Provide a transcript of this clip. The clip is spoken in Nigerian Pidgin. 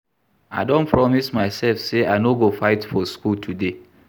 I don promise myself say I no go fight for school today